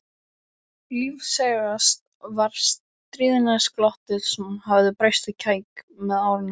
Lífseigast var stríðnisglottið sem hafði breyst í kæk með árunum.